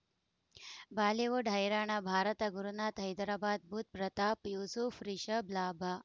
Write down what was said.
Bollywood ಹೈರಾಣ ಭಾರತ ಗುರುನಾಥ ಹೈದರಾಬಾದ್ ಬುಧ್ ಪ್ರತಾಪ್ ಯೂಸುಫ್ ರಿಷಬ್ ಲಾಭ